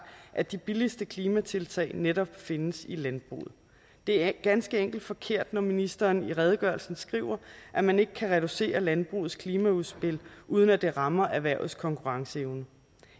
at de billigste klimatiltag netop findes i landbruget det er ganske enkelt forkert når ministeren i redegørelsen skriver at man ikke kan reducere landbrugets klimaudspil uden at det rammer erhvervets konkurrenceevne